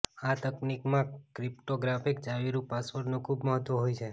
આ તકનિકમાં ક્રિપ્ટોગ્રાફિક ચાવીરૂપ પાસવર્ડનું ખુબ મહત્ત્વ હોય છે